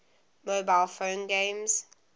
mobile phone games